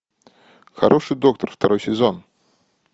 хороший доктор второй сезон